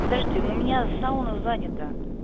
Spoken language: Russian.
подожди у меня сауна занята